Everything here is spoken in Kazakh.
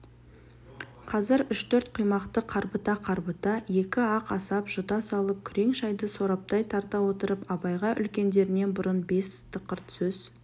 қазір үш-төрт құймақты қарбыта-қарбыта екі-ақ асап жұта салып күрең шайды сораптай тарта отырып абайға үлкендерінен бұрын бестіқырт сөз